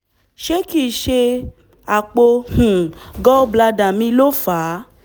ṣé kìí ṣe àpò um gall bladder mi ló fà á?